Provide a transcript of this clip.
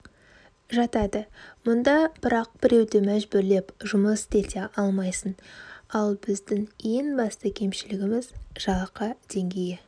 жатады мұнда бірақ біреуді мәжбүрлеп жұмыс істете алмайсың ал біздің ең басты кемшілігіміз жалақы деңгейі